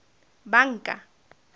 banka